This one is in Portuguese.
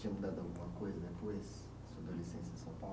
Tinha mudado alguma coisa depois da sua adolescência em São